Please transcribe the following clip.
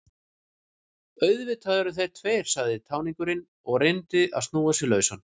Auðvitað eru þeir tveir, sagði táningurinn og reyndi að snúa sig lausan.